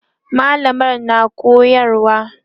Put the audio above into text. mallamar na koyarwa